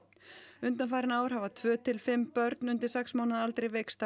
undanfarin ár hafa tvö til fimm börn undir sex mánaða aldri veikst af